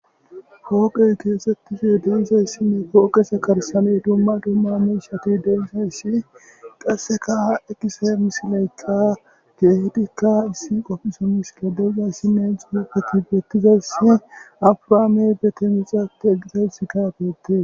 hooqey keesettise densayssinne kooqesa karsame dumma dumma miishati densoyssi qasseka ha ekise misileyqtqa geehedikka issin qopphiso misile deggayssinne xurepfeti bettizayss abraame gete mixapte eqizayss kaagette